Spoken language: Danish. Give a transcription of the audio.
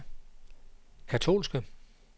katolske